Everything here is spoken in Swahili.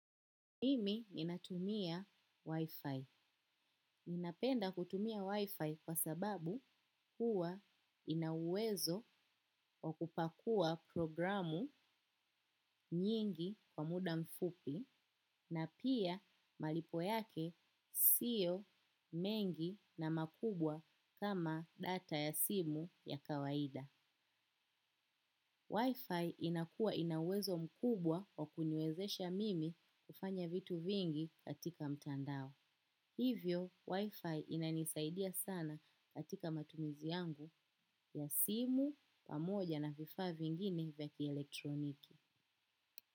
Mimi ninatumia Wi-Fi. Ninapenda kutumia Wi-Fi kwa sababu huwa ina uwezo wa kupakua programu nyingi kwa muda mfupi na pia malipo yake siyo mengi na makubwa kama data ya simu ya kawaida. Wi-Fi inakuwa ina uwezo mkubwa wa kuniwezesha mimi kufanya vitu vingi katika mtandao. Hivyo, wifi inanisaidia sana katika matumizi yangu ya simu pamoja na vifaa vingine vya kielektroniki.